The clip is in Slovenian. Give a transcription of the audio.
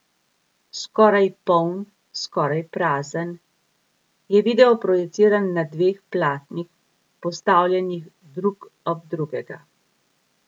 Skoraj poln, skoraj prazen je video projiciran na dveh platnih, postavljenih drug ob drugega.